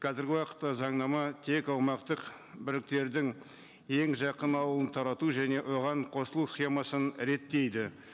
қазіргі уақытта заңнама тек аумақтық ең жақын ауылын тарату және оған қосылу схемасын реттейді